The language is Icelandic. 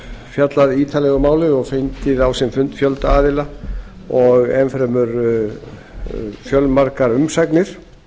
fjallað ítarlega um málið og fengið á sinn fund fjölda aðila og enn fremur fjölmargar umsagnir